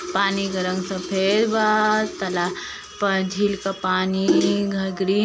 पानी गरम सफ़ेद बा तला झील का पानी घघरी --